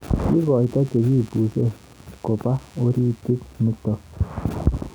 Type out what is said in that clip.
Kikoitoi chekibuse kobo oritit nitok.